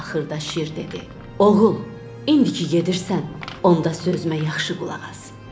Axırda şir dedi: Oğul, indiki gedirsən, onda sözümə yaxşı qulaq as.